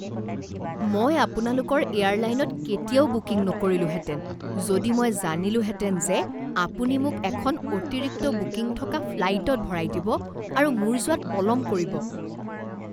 মই আপোনালোকৰ এয়াৰলাইনত কেতিয়াও বুকিং নকৰিলোহেঁতেন যদি মই জানিলোহেঁতেন যে আপুনি মোক এখন অতিৰিক্ত বুকিং থকা ফ্লাইটত ভৰাই দিব আৰু মোৰ যোৱাত পলম কৰিব।